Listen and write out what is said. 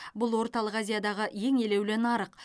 бұл орталық азиядағы ең елеулі нарық